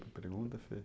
Tem pergunta?